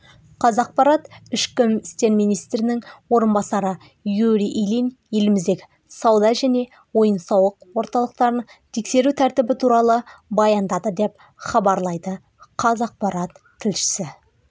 қазақпарат ішкі істер министрінің орынбасары юрий ильин еліміздегі сауда және ойын-сауық орталықтарын тексеру тәртібі туралы баяндады деп хабарлайды қазақпарат тілшісі